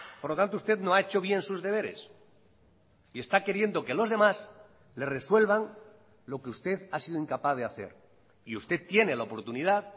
por lo tanto usted no ha hecho bien sus deberes y está queriendo que los demás le resuelvan lo que usted ha sido incapaz de hacer y usted tiene la oportunidad